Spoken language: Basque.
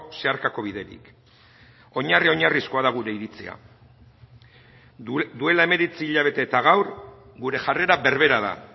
zeharkako biderik oinarri oinarrizkoa da gure iritzia duela hemeretzi hilabete eta gaur gure jarrera berbera da